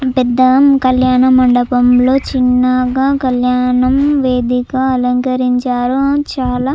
పెద్దా కళ్యాణ మండపంలో చిన్నగా కళ్యాణం వేదిక అలంకరించారు. ఆ చాలా--